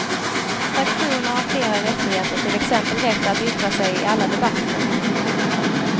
Fraktioner har flera rättigheter till exempel rätt att yttra sig i alla debatter.